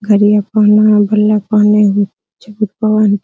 घड़ियाँ पहने है बल्ला पहना हुआ